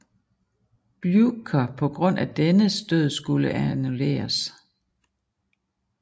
Bljukher på grund af dennes død skulle annulleres